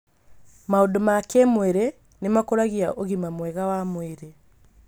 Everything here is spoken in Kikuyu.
Maũndũ ma kĩĩmwĩrĩ nĩ makũragia ũgima mwega wa mwĩrĩ.